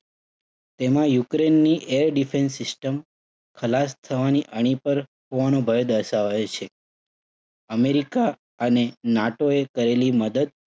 તેમાં યુક્રેઇનની air defense system ખલાસ થવાની અણી પર હોવાનો ભય દર્શાવાયો છે. અમેરિકા અને NATO એ કરેલી મદદ